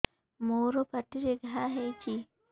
ମୋର ପାଟିରେ ଘା ହେଇଚି